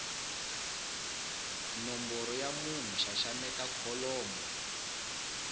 nomboro ya munhu xaxameta kholomo